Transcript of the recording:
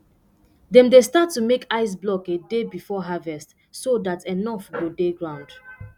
dem dey start to make ice block a day before harvest so dat enough go dey ground